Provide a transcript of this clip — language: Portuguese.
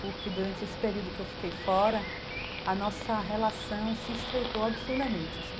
Porque durante esse período que eu fiquei fora, a nossa relação se estreitou absurdamente, assim.